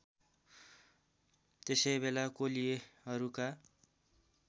त्यसै बेला कोलीयहरूका